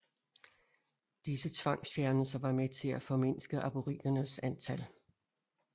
Disse tvangsfjernelser var med til at formindske aboriginernes antal